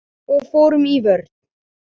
Og fórum í vörn.